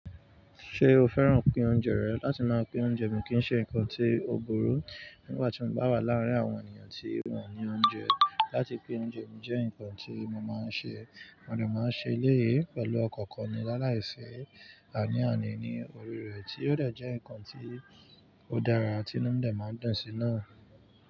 Ṣé o fẹ́ràn pín oúnjẹ rẹ? Láti máa pín oúnjẹ mi kì í ṣe nǹkan tí ó burú. Nígbà tí mo bá wà láàárín àwọn ènìyàn tí wọ́n o ní oúnjẹ, láti pín oúnjẹ mi jẹ́ nǹkan tí mo máa ń ṣe. Mo de máa ń ṣe eléyi pẹ̀lú ọkan kan ní aláìsí àní àní ní orí rẹ̀, tí ó dà jẹ́ nǹkan tí ó dára tí inu mi de máa ń dùn sí náà.